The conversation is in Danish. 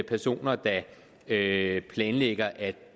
personer der planlægger at